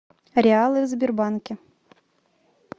реалы в сбербанке